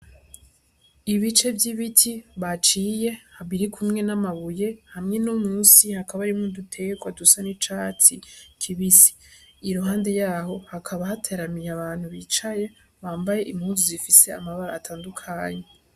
Ibice vy'ibiti baciye biri kumwe n'amabuye, hamwe no munsi hakaba harimwo uduterwa dusa n'icatsi kibisi. Iruhande y'aho hakaba hateramiye abantu bicaye bambaye impuzu zifise amabara atandukanye.